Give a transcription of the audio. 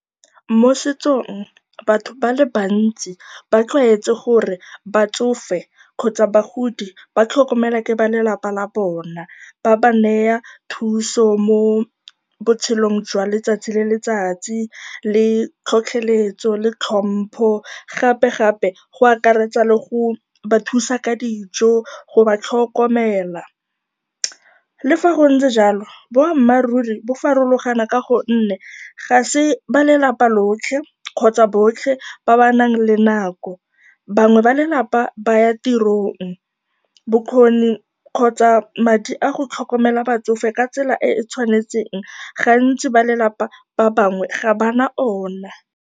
Mo setsong, batho ba le bantsi ba tlwaetse gore batsofe kgotsa bagodi ba tlhokomelwa ke balelapa la bona, ba ba naya thuso mo botshelong jwa letsatsi le letsatsi le tlhotlheletso le tlhompho, gapegape go akaretsa le go ba thusa ka dijo, go ba tlhokomela. Le fa go ntse jalo, boammaaruri bo farologana ka gonne ga se balelapa lotlhe kgotsa botlhe ba ba nang le nako, bangwe ba lelapa ba ya tirong. Bokgoni kgotsa madi a go tlhokomela batsofe ka tsela e e tshwanetseng, gantsi balelapa ba bangwe ga ba na ona.